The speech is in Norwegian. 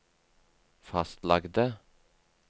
fastlagte